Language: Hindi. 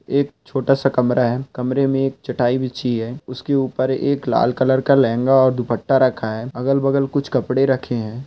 एक छोटा सा कमरा है कमरे में एक चटाई बिछी है उसके ऊपर एक लाल कलर लहंगा और दुपटा रखा है अगल बगल कुछ और कपड़े रखे है।